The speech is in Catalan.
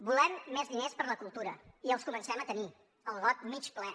volem més diners per la cultura i els comencem a tenir el got mig ple